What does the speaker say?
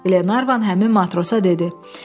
Qlenarvan həmin matrosa dedi: